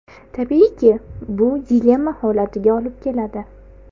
Tabiiyki, bu dilemma holatiga olib keladi.